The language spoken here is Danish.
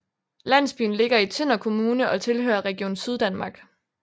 Landsbyen ligger i Tønder Kommune og tilhører Region Syddanmark